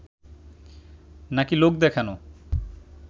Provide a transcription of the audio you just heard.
নাকি লোক দেখানো